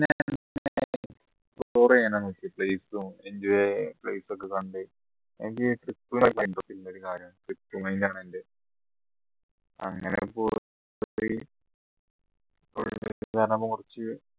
place ഉം enjoy place ഒക്കെ കണ്ടു അങ്ങനെ